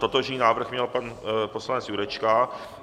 Totožný návrh měl pan poslanec Jurečka.